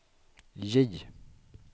J